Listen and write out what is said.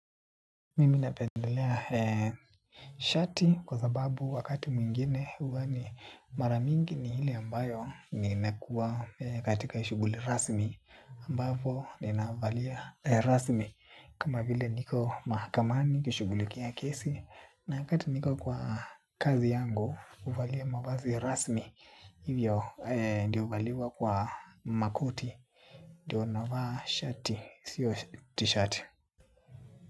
Mimi napendelea shati kwa sababu wakati mwingine huwa ni mara mingi ni ile ambayo ninakuwa katika shuguli rasmi ambapo ninavalia rasmi kama vile niko mahakamani nikishugulikia kesi na wakati niko kwa kazi yangu huvalia mavazi rasmi hivyo ndio huvaliwa kwa makoti ndio navaa shati sio t-shirt.